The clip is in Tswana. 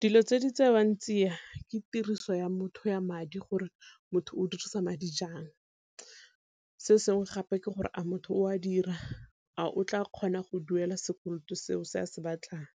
Dilo tse di tsewang tsia ke tiriso ya motho ya madi gore motho o dirisa madi jang, se sengwe gape ke gore a motho o a dira, a o tla kgona go duela sekoloto seo se a se batlang.